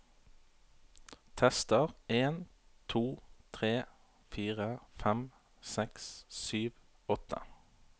Tester en to tre fire fem seks sju åtte